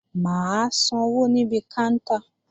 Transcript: Mà á sanwó níbi káńtà